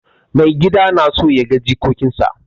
Maigida na son ya ga jikokinsa.